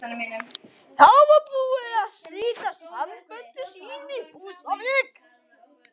Þá var hún búin að slíta sambönd sín á Húsavík.